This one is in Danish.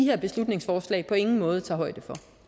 her beslutningsforslag på ingen måde tager højde for